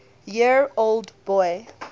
year old boy